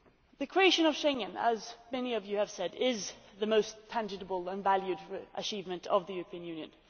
The creation of Schengen as many of you have said is the most tangible and valued achievement of the European Union.